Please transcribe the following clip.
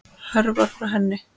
Hörfar frá henni.